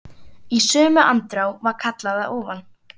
Og í sömu andrá var kallað að ofan.